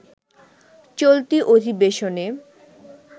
চলতি অধিবেশনে